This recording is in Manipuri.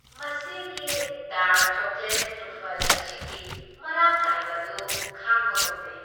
ꯃꯁꯤꯒꯤ ꯗꯥꯔꯛ ꯆꯣꯀꯣꯂꯦꯠ ꯇ꯭ꯔꯨꯐꯜ ꯑꯁꯤꯒꯤ ꯃꯔꯥꯡ ꯀꯥꯏꯕ ꯑꯗꯨ ꯈꯥꯡꯕ ꯉꯝꯗꯦ ꯫